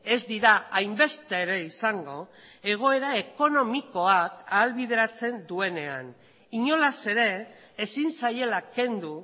ez dira hainbeste ere izango egoera ekonomikoak ahalbideratzen duenean inolaz ere ezin zaiela kendu